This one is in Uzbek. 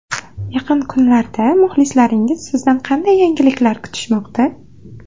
Yaqin kunlarda muxlislaringiz sizdan qanday yangiliklar kutishmoqda?